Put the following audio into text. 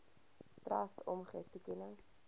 trust omgee toekenning